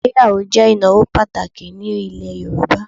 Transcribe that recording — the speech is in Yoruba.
Ìgbéyàwó jẹ́ ìnáwó pàtàkì ní ilẹ̀ Yorùbá